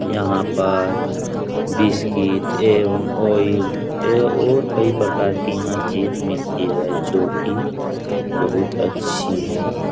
यहाँ पर बिस्कुट एवम आयल ए और कई प्रकार की चीज यहाँ मिलती है जोकि बहुत अच्छी है।